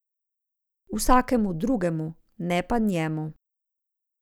Vsakemu drugemu, ne pa njemu.